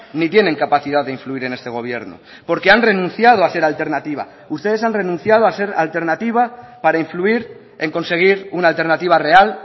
ni tienen capacidad de influir en este gobierno porque han renunciado a ser alternativa ustedes han renunciado a ser alternativa para influir en conseguir una alternativa real